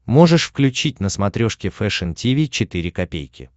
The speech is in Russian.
можешь включить на смотрешке фэшн ти ви четыре ка